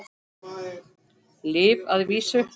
Lyf að vísu.